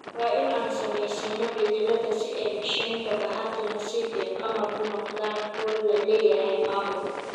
"Waa in aan samaysano beddelada si ay micheega bahati nasiib iyo qamar u noqdaan kuwo la leeyahay maamul.